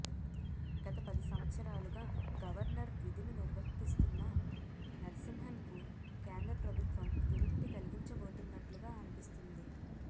గత పది సంవత్సరాలుగా గవర్నర్ విధులు నిర్వర్తిస్తున్న నరసింహన్కు కేంద్ర ప్రభుత్వం విముక్తి కలిగించబోతున్నట్లుగా అనిపిస్తుంది